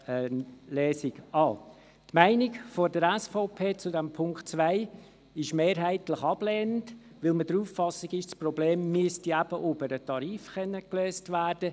Die Meinung der SVP zum Punkt 2 ist mehrheitlich ablehnend, weil wir der auf Auffassung sind, das Problem müsse über den Tarif gelöst werden.